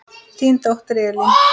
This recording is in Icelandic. Þín dóttir, Elín.